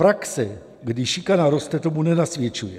Praxe, kdy šikana roste, tomu nenasvědčuje.